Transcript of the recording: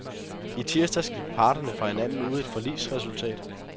I tirsdags gik parterne fra hinanden uden et forligsresultat.